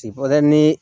ni